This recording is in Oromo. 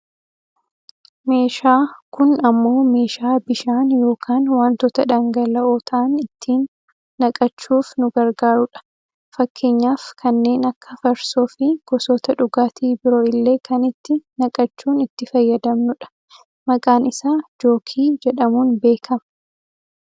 Meeshaa kun ammoo meeshaa bishaan yookaan wantoota dhangal'oo ta'an itti naqachuuf nu gargaarudha. Fakkeenyaaf kanneen akka farsoo, fi gosoota dhugaatii biro illee kan itti naqachuun itti fayyadamnudha. Maqaan isaa jookii jedhamuun beekkama.